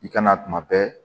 I kana tuma bɛɛ